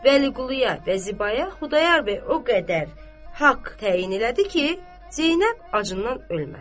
Vəliquluya və Zibaya Xudayar bəy o qədər haqq təyin elədi ki, Zeynəb acından ölməsin.